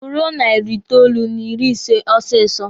Guruo narị itoolu n'ịrị ise osisi!